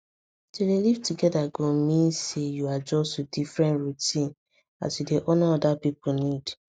to dey live together go mean say you adjust to different routines as you dey honour other people need